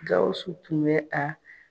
Gawusu tun bɛ a